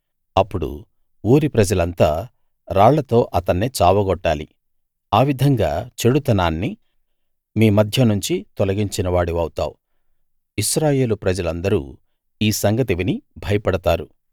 అప్పుడు ఊరి ప్రజలంతా రాళ్లతో అతన్ని చావగొట్టాలి ఆ విధంగా చెడుతనాన్ని మీ మధ్యనుంచి తొలగించిన వాడివౌతావు ఇశ్రాయేలు ప్రజలందరూ ఈ సంగతి విని భయపడతారు